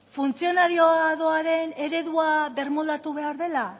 funtzionariadoaren eredua birmoldatu behar dela